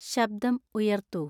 ശബ്ദം ഉയർത്തൂ